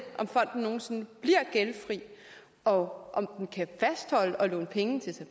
om fonden nogen sinde bliver gældfri og om den kan fastholde at låne penge til så